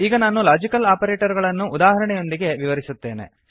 ಈಗ ನಾನು logical operator ಗಳನ್ನು ಉದಾಹರಣೆಯೊಂದಿಗೆ ವಿವರಿಸುತ್ತೇನೆ